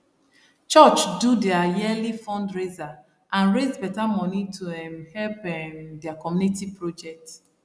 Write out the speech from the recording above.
church do their yearly fundraiser and raise better money to um help um their community project